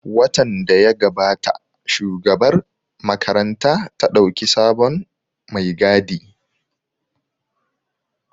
Watan da ya gabata Shugabar makaranta ta ɗauki sabon mai gadi